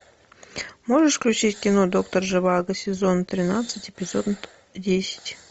можешь включить кино доктор живаго сезон тринадцать эпизод десять